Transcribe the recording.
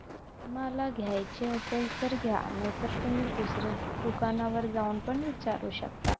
तुम्हाला घ्यायची असेल तर घ्या नाहीतर तुम्ही दुसऱ्या दुकानावर जाऊन पण विचारू शकता